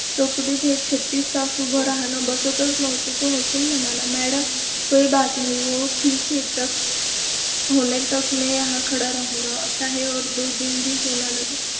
चोकटीत हे छत्तीस तास उभं राहणं बसतच नव्हतं. तो हसून म्हणाला मॅडम, कोई बात नहीं वो ठीक होने तक मैं यहाँ खडा राहुगा. चाहे और दो दिन भी क्यूँ ना लगे.